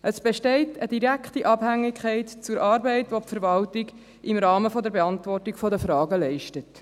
Es besteht eine direkte Abhängigkeit zur Arbeit, die die Verwaltung im Rahmen der Beantwortung der Fragen leistet.